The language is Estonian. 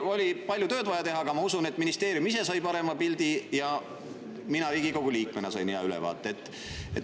Oli palju tööd vaja teha, aga ma usun, et ministeerium ise sai parema pildi ja mina Riigikogu liikmena sain hea ülevaate.